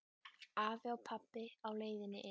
Afi og pabbi á leiðinni inn.